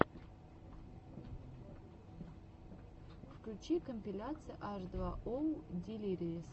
включи компиляция аш два оу дилириэс